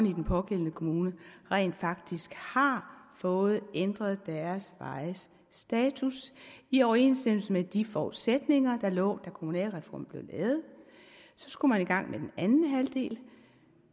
i den pågældende kommune rent faktisk har fået ændret deres vejes status i overensstemmelse med de forudsætninger der lå da kommunalreformen blev lavet så skulle man i gang med den anden halvdel og